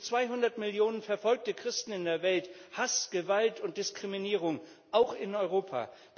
Bis zu 200 Millionen verfolgte Christen in der Welt, Hass, Gewalt und Diskriminierung auch in Europa.